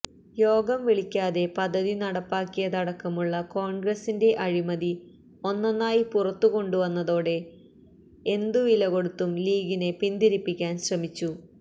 യോഗം വിളിക്കാതെ പദ്ധതി നടപ്പാക്കിയതടക്കമുള്ള കോൺഗ്രസിന്റെ അഴിമതി ഒന്നൊന്നായി പുറത്തു കൊണ്ടുവന്നതോടെ ഏന്തു വില കൊടുത്തും ലീഗിനെ പിന്തിരിപ്പിക്കാൻ ശ്രമിച്ചു